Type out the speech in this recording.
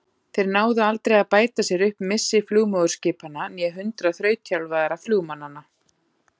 Þeir náðu aldrei að bæta sér upp missi flugmóðurskipanna né hundrað þrautþjálfaðra flugmannanna.